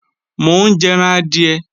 Mo ń jẹran adìẹ